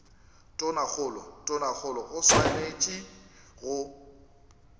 tonakgolo tonakgolo o swanetše go